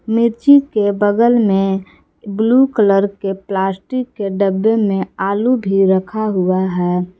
मिर्ची के बगल में ब्लू कलर के प्लास्टिक के डब्बे में आलू भी रखा हुआ है।